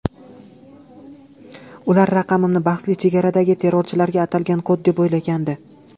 Ular raqamni bahsli chegaradagi terrorchilarga atalgan kod deb o‘ylagandi.